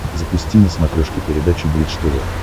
запусти на смотрешке передачу бридж тв